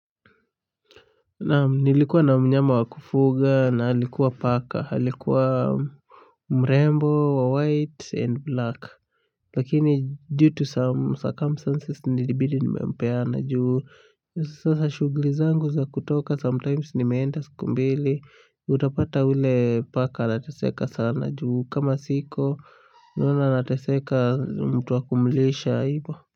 Naam nilikuwa na mnyama wa kufuga na alikuwa paka alikuwa mrembo wa white and black lakini due to some circumstances nilibidi nimempeana juu. Sasa shughuli zangu za kutoka sometimes nimeenda siku mbili. Utapata ule paka anataseka sana juu kama siko naona anataseka mtu wakumulisha.